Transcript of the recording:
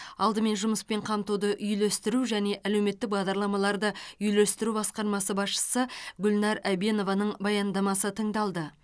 алдымен жұмыспен қамтуды үйлестіру және әлеуметтік бағдарламаларды үйлестіру басқармасы басшысы гүлнар әбенованың баяндамасы тыңдалды